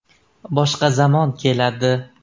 Boshqa zamon keladi.